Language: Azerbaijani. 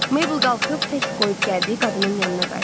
Maybel qalxıb tək qoyub gəldiyi qadının yanına qayıtdı.